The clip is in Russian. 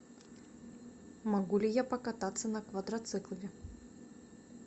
могу ли я покататься на квадроцикле